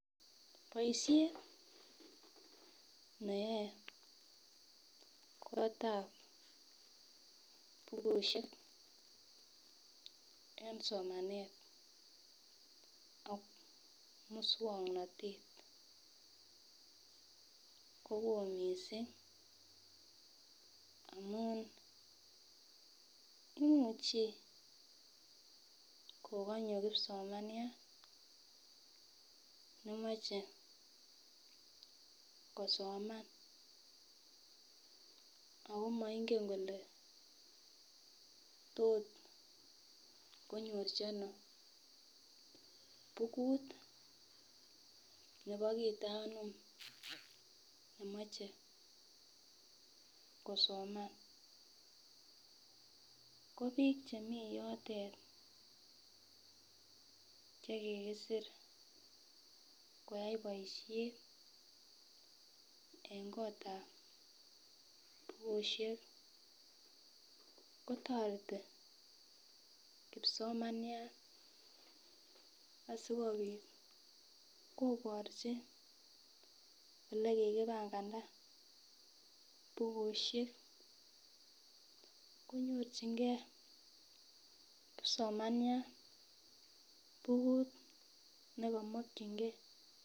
Boishet neyoe kotab bukushek en somananet ak muswoknotet kowoo missing amun imuchi kokonyo kipsomaniat nemoche kosoman Ako moingen kole tot konyorchi ono bukut nebo kit anom nemoche komanam ko bik chemii yotet chekikisir koyai boishet en kotab bukushek kotoreti kipsomaniat sikopit koborchingee olekikipanganda bukushek konyorchigee kipsomaniat bukut nekomokingee.